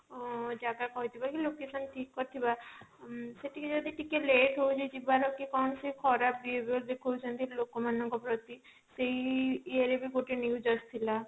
ଅ ଜାଗା କହିଥିବା କି location ଠିକ କହିଥିବା ଉଁ ସେଠିକି ଯଦି ଟିକେ late ହଉଛି ଯିବାର କି କଣ ସିଏ ଖରାପ behaviour ଦେଖଉଛନ୍ତି ଲୋକ ମାନଙ୍କ ପ୍ରତି ସେଇ ଇଏ ରେ ବି ଗୋଟେ news ଆସିଥିଲା